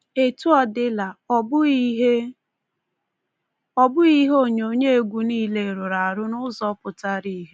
Etu ọ dịla, ọ bụghị ihe ọ bụghị ihe onyonyo egwu nile rụrụ arụ n’ụzọ pụtara ihe.